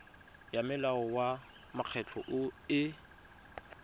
ya molao wa mekgatlho e